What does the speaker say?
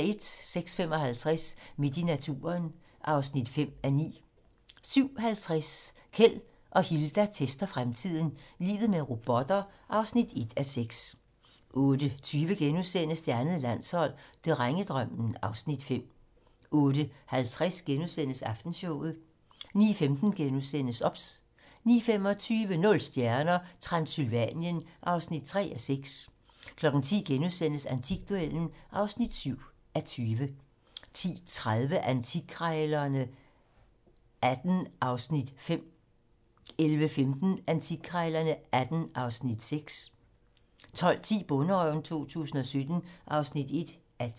06:55: Midt i naturen (5:9) 07:50: Keld og Hilda tester fremtiden - Livet med robotter (1:6) 08:20: Det andet landshold: Drengedrømmen (Afs. 5)* 08:50: Aftenshowet * 09:15: OBS * 09:25: Nul stjerner - Transsylvanien (3:6) 10:00: Antikduellen (7:20)* 10:30: Antikkrejlerne XVIII (Afs. 5) 11:15: Antikkrejlerne XVIII (Afs. 6) 12:10: Bonderøven 2017 (1:10)